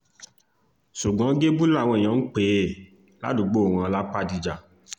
ṣùgbọ́n gébú làwọn èèyàn ń pè é ládùúgbò wọn lápàdíjà